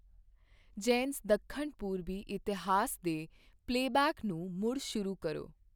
ਜ਼ੈਨਸ ਦੱਖਣ ਪੂਰਬੀ ਇਤਿਹਾਸ ਦੇ ਪਲੇਬੈਕ ਨੂੰ ਮੁੜ ਸ਼ੁਰੂ ਕਰੋ